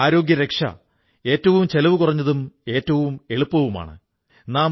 രോഗപ്രതിരോധം എന്നത് ഏറ്റവും ചെലവു കുറഞ്ഞതും എളുപ്പവുമായ ആരോഗ്യരക്ഷയാണ്